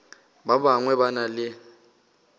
ba bangwe ba na le